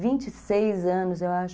vinte e seis anos, eu acho.